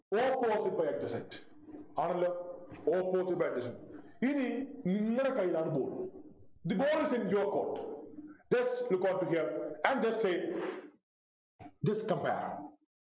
Opposite by adjacent ആണല്ലോ Opposite by adjacent ഇനി നിങ്ങളെ കയ്യിലാണ് ball The ball is in your court Just look at here and just say Just compare